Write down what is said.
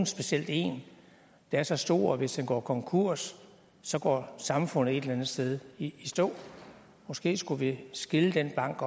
specielt en der er så stor at hvis den går konkurs så går samfundet et eller andet sted i stå måske skulle vi skille den bank